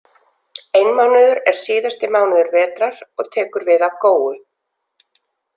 Einmánuður er síðasti mánuður vetrar og tekur við af góu.